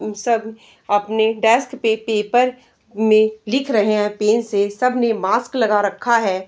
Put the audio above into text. उन सब अपने डेस्क पे पेपर मे लिख रहे है पेन से सब ने मास्क लगा रखा है।